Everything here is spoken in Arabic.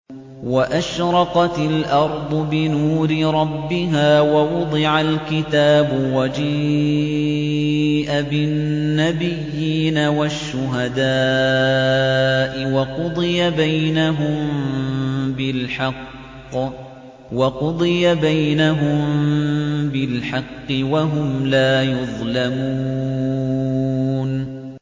وَأَشْرَقَتِ الْأَرْضُ بِنُورِ رَبِّهَا وَوُضِعَ الْكِتَابُ وَجِيءَ بِالنَّبِيِّينَ وَالشُّهَدَاءِ وَقُضِيَ بَيْنَهُم بِالْحَقِّ وَهُمْ لَا يُظْلَمُونَ